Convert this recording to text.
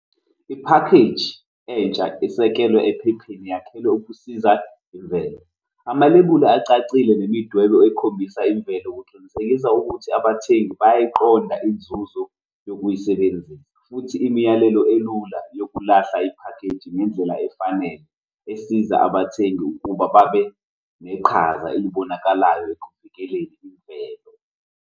Iphakheji entsha esekelwe ephepheni yakhelwe ukusiza imvelo. Amalebuli acacile nemidwebo ekhombisa imvelo kuqinisekisa ukuthi abathengi bangayiqonda inzuzo yokuyisebenzisa futhi imiyalelo elula yokulahla iphakheji ngendlela efanele esiza abathengi ukuba babe neqhaza elibonakalayo ekuvikeleni imvelo.